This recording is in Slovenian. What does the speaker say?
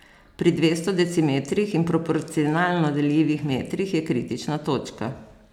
Pri dvesto decimetrih in proporcionalno deljivih metrih je kritična točka.